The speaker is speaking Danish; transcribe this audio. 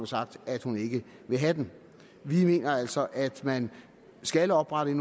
sagt at hun ikke vil have den vi mener altså at man skal oprette